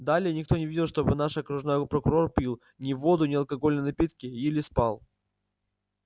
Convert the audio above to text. далее никто не видел чтобы наш окружной прокурор пил ни воду ни алкогольные напитки или спал